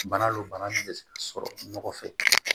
Bana don bana min bɛ se ka sɔrɔ nɔgɔ fɛ